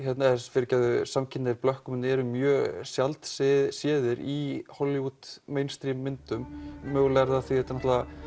fyrirgefðu samkynhneigðir blökkumenn eru mjög sjaldséðir í Hollywood myndum mögulega er það af því að þetta